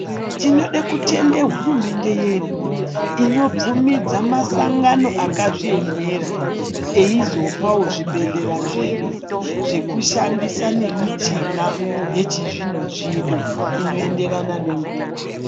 Tinode kutende hurumende yedu inobvumidza masangano akazviemera eizopawo zvibhedhlera zvedu zvekushandisa nemichina yechizvino zvino inoenderana nenguwa.